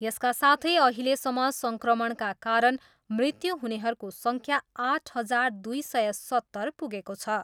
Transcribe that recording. यसका साथै अहिलेसम्म सङ्क्रमणका कारण मृत्यु हुनेहरूको सङ्ख्या आठ हजार दुई सय सत्तर पुगेको छ।